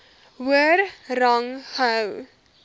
hoër rang gehou